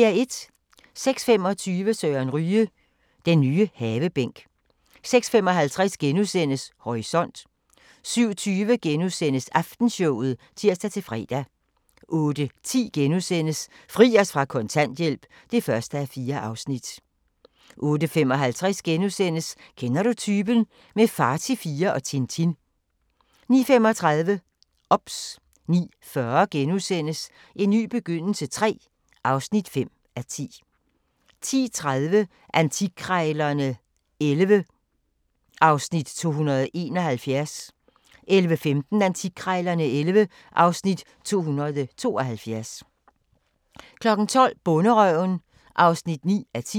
06:25: Søren Ryge – den nye havebænk 06:55: Horisont * 07:20: Aftenshowet *(tir-fre) 08:10: Fri os fra kontanthjælp (1:4)* 08:55: Kender du typen? – med Far til fire og Tintin * 09:35: OBS 09:40: En ny begyndelse III (5:10)* 10:30: Antikkrejlerne XI (Afs. 271) 11:15: Antikkrejlerne XI (Afs. 272) 12:00: Bonderøven (9:10)